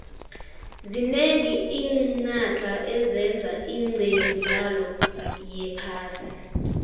zinengi iinaxha ezeza nqemidlalo yephasi